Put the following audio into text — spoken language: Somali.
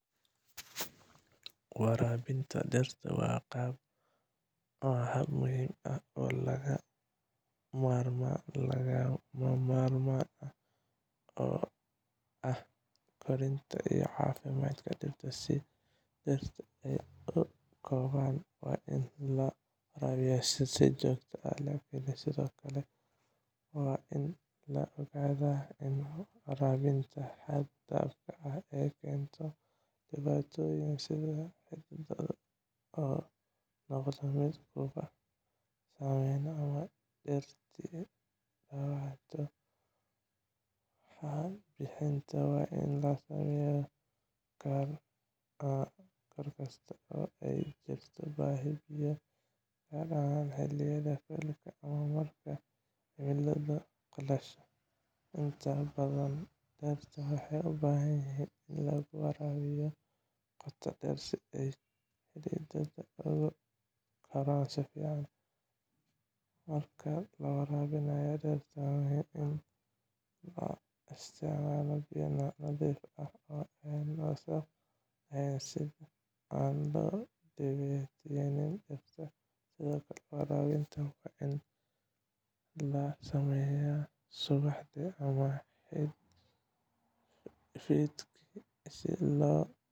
Waraabinta dhirta waa hab muhiim ah oo lagama maarmaan u ah koritaanka iyo caafimaadka dhirta. Si dhirta ay u kobcaan, waa in la waraabiyaa si joogto ah, laakiin sidoo kale waa in la ogaadaa in waraabinta xad-dhaafka ah ay keeni karto dhibaatooyin sida xididada oo noqda mid ka samaysma oo dhirtii dhaawacanto. Waraabinta waa in la sameeyaa goor kasta oo ay jirto baahi biyo, gaar ahaan xilliyada kuleylka ama marka cimiladu qalasho. Inta badan, dhirta waxay u baahan yihiin in lagu waraabiyo qoto dheer si ay xididada ugu koraan si fiican. Marka la waraabinayo dhirta, waxaa muhiim ah in la isticmaalo biyo nadiif ah oo aan wasakh lahayn, si aan loo dhaawicin dhirta. Sidoo kale, waraabinta waa in la sameeyaa subaxdii ama fiidkii si loo